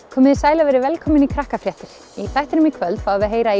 komiði sæl og verið velkomin í Krakkafréttir í þættinum í kvöld fáum við að heyra